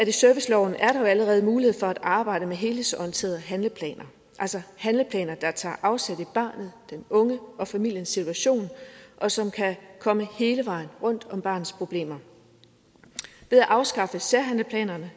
i serviceloven allerede er mulighed for at arbejde med helhedsorienteret handleplaner altså handleplaner der tager afsæt i barnet den unge og familiens situation og som kan komme hele vejen rundt om barnets problemer ved at afskaffe særhandleplanerne